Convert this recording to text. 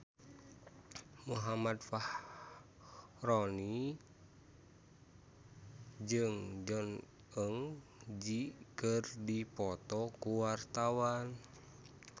Muhammad Fachroni jeung Jong Eun Ji keur dipoto ku wartawan